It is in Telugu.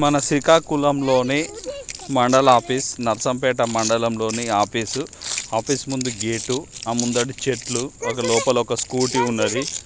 మన శ్రీకాకుళంలోనే మండల ఆఫీస్ నర్సంపేట మండలం లోని ఆఫీస్ . ఆఫీస్ ముందు గేటు ఆ ముందట చెట్లు ఒక ఆ లోపల ఒక స్కూటీ ఉన్నది.